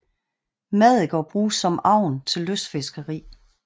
Maddiker bruges som agn til lystfiskeri